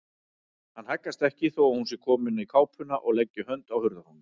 Hann haggast ekki þó að hún sé komin í kápuna og leggi hönd á hurðarhúninn.